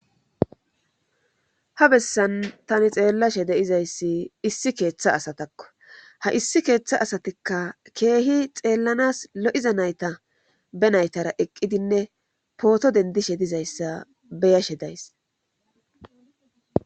ha bessan tani xeellashe deizayssi issi keeththa asatakko ha issi keeththa asatikka keehi xeellanas lo7iza nayta be naytara eqqidinne pooto dendishe dizayssa beyashe days